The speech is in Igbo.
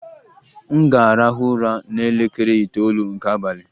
M ga-arahụ ụra n'elekere itoolu nke abalị.